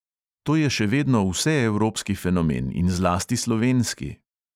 To je še vedno vseevropski fenomen in zlasti slovenski.